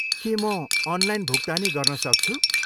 के म अनलाइन भुक्तानी गर्न सक्छु?